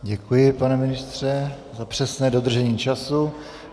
Děkuji, pane ministře, za přesné dodržení času.